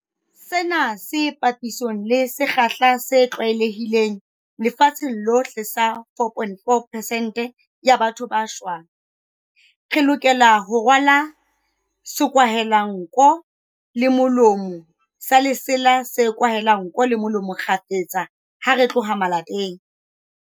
Sena ke papisong le sekgahla se tlwaelehileng lefatsheng lohle sa 4.4 pesente ya batho ba shwang. Re lokela ho rwala sekwahelanko le molomo sa lesela se kwahelang nko le molomo kgafetsa ha re tloha malapeng.